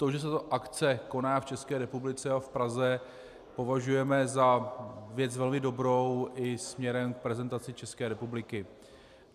To, že se tato akce koná v České republice a v Praze, považujeme za věc velmi dobrou i směrem k prezentaci České republiky.